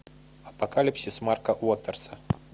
апокалипсис марка уотерса